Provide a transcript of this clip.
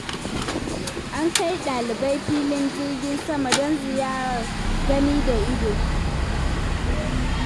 An kai ɗalibai filin jirgin sama, don ziyarar gani da ido.